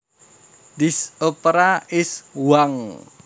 This opera is wank